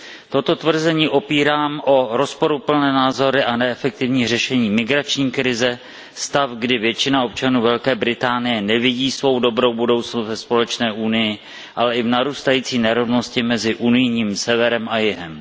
Toto tvrzení opírám o rozporuplné názory a neefektivní řešení migrační krize, stav, kdy většina občanů Velké Británie nevidí svou dobrou budoucnost ve společné Unii, ale i o narůstající nerovnosti mezi unijním severem a jihem.